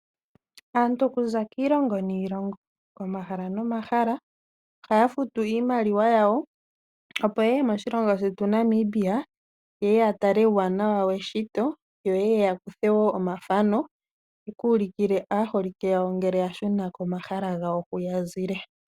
Aantu okuza kiilongo niilongo, komahala nomahala, oha ya futu iimaliwa ya wo opo yeye moshilongo shetu Namibia yeye yatale uuwanawa weshito, yo taya kutha omathano ye ku ulikile aaholike yawo ngele yashuna komahala gawo hu yazile.